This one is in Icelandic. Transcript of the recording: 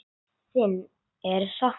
Þín er saknað.